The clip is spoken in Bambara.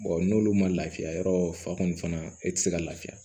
n'olu ma lafiya yɔrɔ fa kɔni e tɛ se ka lafiya